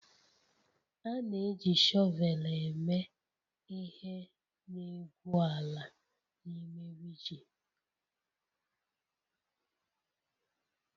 A na-eji shọvel eme ihe n'egwu ala na ime rigi